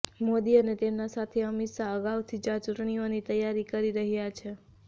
મોદી અને તેમના સાથી અમિત શાહ અગાઉથી જ આ ચૂંટણીઓની તૈયારી કરી રહ્યા છે